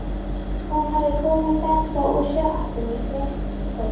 Hún hafði komið með þá úr sjoppunni í gærkveldi.